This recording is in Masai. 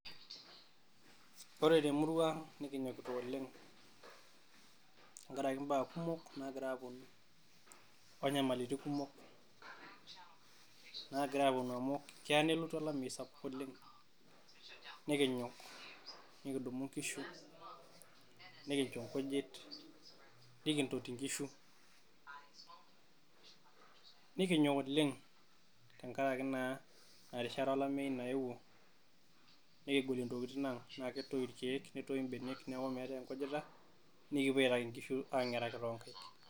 Ore temurua nikinyikita oleng' tengaraki baa kumok naagira aaponu Inyamalitin kumok naagira aaponu amu keya nelotu olameyu SAPUK oleng' nikinyok nikidumu inkishu nikincho inkujit, nikintoti inkishu nikinyok oleng' tengaraki naa Ina rishata olameyu nayewuo nikigolie Intokitin ang' naa ketoyu irkiek netoyu ebenek neaku meetae enkujita nikipuo aitaki inkishu aang'eraki too nkaik.